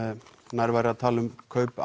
nær væri að tala um kaup